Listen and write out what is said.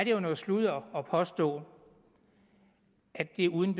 jo noget sludder at påstå at det er uden